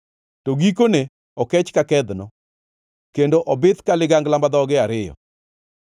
to gikone okech ka kedhno kendo obith ka ligangla ma dhoge ariyo.